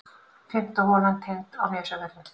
Fimmta holan tengd á Nesjavöllum.